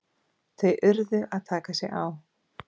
Þeir urðu að taka sig á!